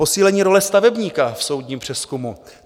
Posílení role stavebníka v soudním přezkumu.